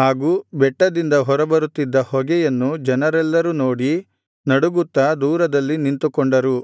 ಹಾಗೂ ಬೆಟ್ಟದಿಂದ ಹೊರಬರುತ್ತಿದ್ದ ಹೊಗೆಯನ್ನು ಜನರೆಲ್ಲರೂ ನೋಡಿ ನಡುಗುತ್ತಾ ದೂರದಲ್ಲಿ ನಿಂತುಕೊಂಡರು